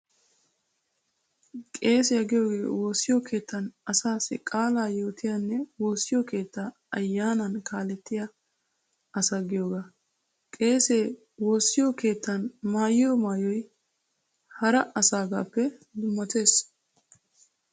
Qeesiyaa giyoogee woossiyo keettan asaassi qaalaa yootiyaanne woossiyo keettaa ayyaanan kaalettiyaa asa giyoogaa. Qeesee woossiyo keettan maayiyo maayoy hara asaagaappe dummatees.